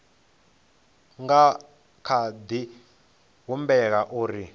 nga kha di humbela uri